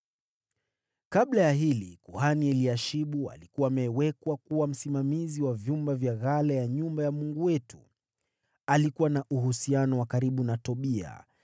Kabla ya hili, kuhani Eliashibu alikuwa amewekwa kuwa msimamizi wa vyumba vya ghala ya nyumba ya Mungu wetu. Alikuwa na uhusiano wa karibu na Tobia,